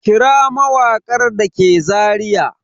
Kira kawarki da ke Zariya?